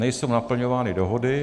Nejsou naplňovány dohody.